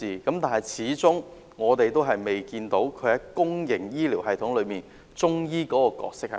但是，我們始終未看到中醫在公營醫療系統中的角色定位。